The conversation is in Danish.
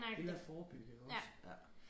Hellere forebygge iggås ja